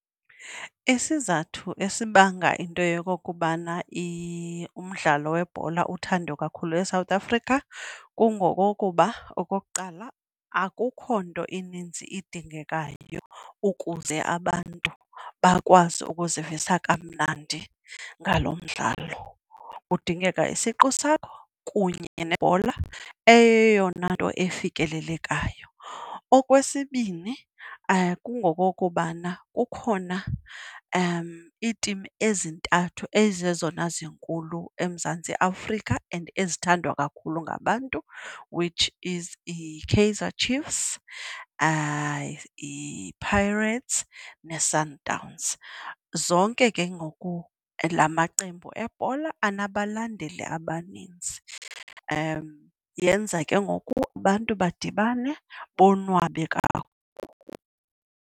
Isizathu esibanga into yokokubana umdlalo webhola uthandwe kakhulu eSouth Africa kungokokuba okokuqala, akukho nto ininzi idingekayo ukuze abantu bakwazi ukuzivisa kamnandi ngalo mdlalo. Kudingeka isiqu sakho kunye nebhola, eyeyona nto ifikelelekayo. Okwesibini kungokokubana kukhona iitimu ezintathu ezizezona zinkulu eMzantsi Afrika and ezithandwa kakhulu ngabantu which is yiKaizer Chiefs, yiPirates neSundowns. Zonke ke ngoku laa maqembu ebhola anabalandeli abanintsi, yenza ke ngoku abantu badibane bonwabe .